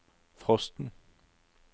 frosten